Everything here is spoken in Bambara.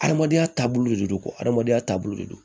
Adamadenya taabolo de don adamadenya taabolo de don